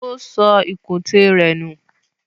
O sọ ìkùntè rẹ̀ nù.